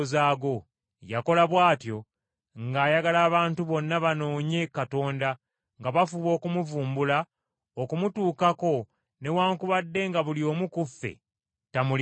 Yakola bw’atyo ng’ayagala abantu bonna banoonye Katonda, nga bafuba okumuvumbula, okumutuukako, newaakubadde nga buli omu ku ffe tamuli wala.